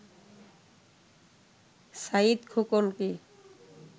Saeed খোকনকে